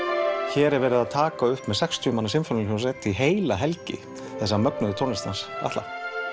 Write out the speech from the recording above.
hér er verið að taka upp með sextíu manna sinfóníuhljómsveit heila helgi þessa mögnuðu tónlist hans Atla